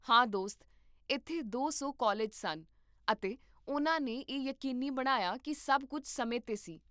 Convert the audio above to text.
ਹਾਂ, ਦੋਸਤ, ਇੱਥੇ ਦੋ ਸੌ ਕਾਲਜ ਸਨ ਅਤੇ ਉਨ੍ਹਾਂ ਨੇ ਇਹ ਯਕੀਨੀ ਬਣਾਇਆ ਕੀ ਸਭ ਕੁੱਝ ਸਮੇਂ 'ਤੇ ਸੀ